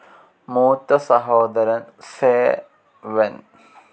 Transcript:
മൂത്ത സഹോദരൻ സേ വെൻ.